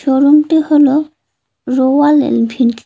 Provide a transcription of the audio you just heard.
শোরুমটি হল Royal Enfield.